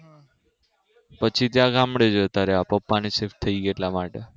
પછી ત્યાં ગામડે જતા રહ્યા પપ્પા ને shift થયી ગયું એટલા માટે